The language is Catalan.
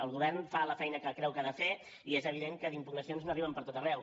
el govern fa la feina que creu que ha de fer i és evident que d’impugnacions n’arriben per tot arreu